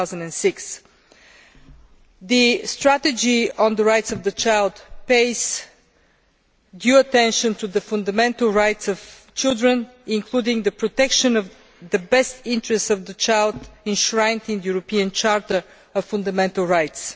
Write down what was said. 2006. The strategy on the rights of the child focuses on the fundamental rights of children, including the protection of the best interests of the child as enshrined in the European Charter of Fundamental Rights.